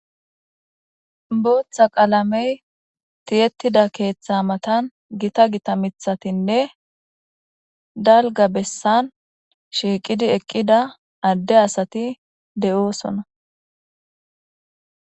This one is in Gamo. Botha qalamey tiyetida ketha matan gita gita mithatinne dalga besan shiiqidi eqida ade asati de'eosona